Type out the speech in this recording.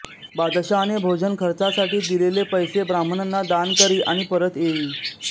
बादशहाने भोजन खर्चासाठी म्हणून दिलेले पैसे ब्राह्मणांना दान करी आणि परत येई